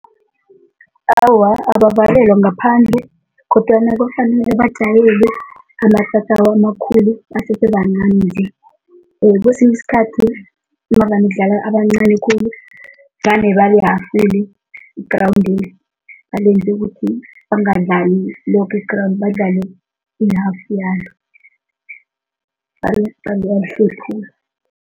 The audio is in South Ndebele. Awa, abavalelwa ngaphandle kodwana kufanele bajayele amatatawu amakhulu basese bancani nje, kwesinye isikhathi navane kudlala abancani khulu vane balihafule igrawundi balenze ukuthi bangadlali loke egrawundi, badlale i-half yalo